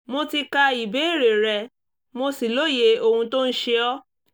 mo ti ka ìbéèrè rẹ mo sì lóye ohun tó ń ṣe ọ